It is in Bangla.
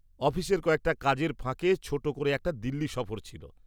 -অফিসের কয়েকটা কাজের ফাঁকে ছোট করে একটা দিল্লি সফর ছিল।